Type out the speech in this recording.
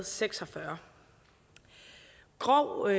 seks og fyrre grov vold